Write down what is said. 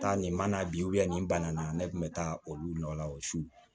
Taa nin mana bi nin bana na ne kun be taa olu nɔ la o su